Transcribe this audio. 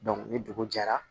ni dugu jɛra